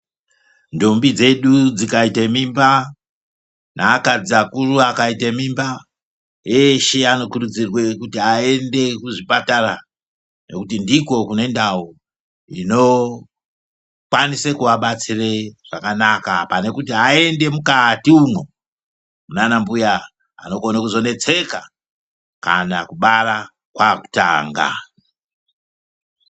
Ndombi dzedu dzikaite mimba, neakadzi akuru akaite mimba eshe anokurudzirwa kuti aende kuzvipatara nekuti ndikwo kune ndau inokwanise kuvabatsire zvakanaka pane kuti vaende mukati umwo muna anambuya vanokone kuzoneseka kana kubara kwaakutanga.